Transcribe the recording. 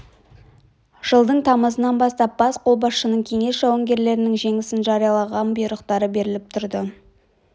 жылдың тамызынан бастап бас қолбасшының кеңес жауынгерлерінің жеңісін жариялаған бұйрықтары беріліп тұрды